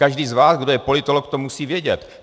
Každý z vás, kdo je politolog, to musí vědět.